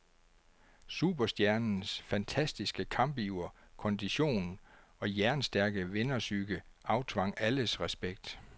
Superstjernens fantastiske kampiver, kondition og jernstærke vinderpsyke aftvang alles respekt.